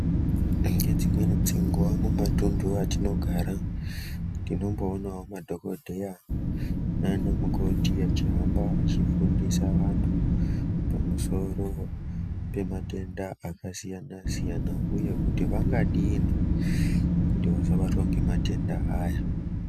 Ngedzimweni dzenguwa mumatuntu atinogara tinomboonawo madhokodheya naanamukoti achihamba achifundisa vantu pamusoro pematenda akasiyana -siyana uye kuti vangadini kuti vasabatwa ngematenda aya.